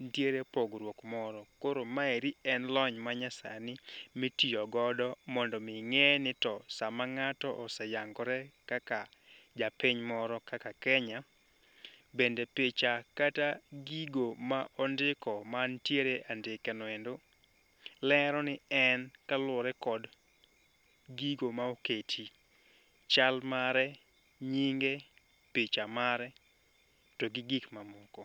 nitiere pogruok moro. Koro maeri en lony ma nyasani mitiyo godo mondo mi ng'e ni to sama ng'ato oseyangore kaka japiny moro kaka Kenya, bende picha kata gigo ma ondiko mantiere andike noendo. Lero ni en kaluwore kod gigo ma oketi, chal mare nyinge, picha mare, togi gik mamoko.